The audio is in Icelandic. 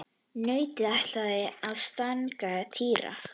Nautið ætlaði að stanga Týra.